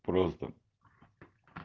просто